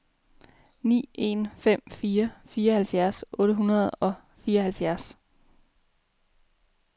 ni en fem fire fireoghalvfjerds otte hundrede og fireoghalvfjerds